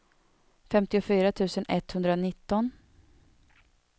femtiofyra tusen etthundranitton